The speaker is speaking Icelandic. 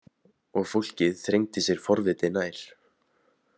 Og fólkið þrengdi sér forvitið nær.